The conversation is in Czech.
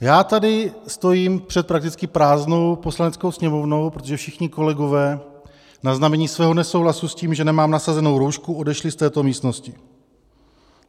Já tady stojím před prakticky prázdnou Poslaneckou sněmovnou, protože všichni kolegové na znamení svého nesouhlasu s tím, že nemám nasazenou roušku, odešli z této místnosti.